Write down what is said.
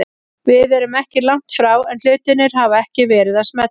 Við erum ekki langt frá en hlutirnir hafa ekki verið að smella.